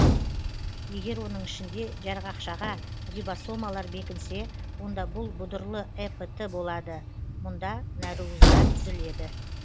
егер оның ішінде жарғақшаға рибосомалар бекінсе онда бұл бұдырлы эпт болады мұнда нәруыздар түзіледі